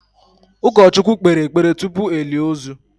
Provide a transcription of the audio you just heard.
ụkọchukwu kpere ekpere tupu elie ozu.